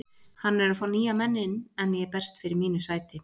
Hann er að fá nýja menn inn en ég berst fyrir mínu sæti.